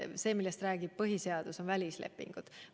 See, millest räägib põhiseadus, on välislepingud.